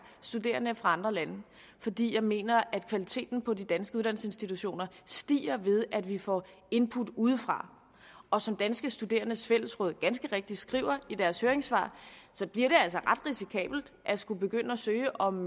studerende fra andre lande fordi jeg mener at kvaliteten på de danske uddannelsesinstitutioner stiger ved at vi får input udefra og som danske studerendes fællesråd ganske rigtigt skriver i deres høringssvar så bliver det altså ret risikabelt at skulle begynde at søge om